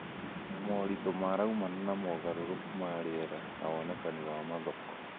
na moritũ maraumana na mogarũrũku ma rĩera na wonekani wa mathoko.